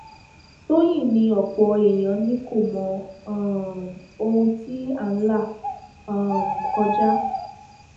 tọyìn ni ọpọ èèyàn ni kò mọ um ohun tí à ń là um kọjá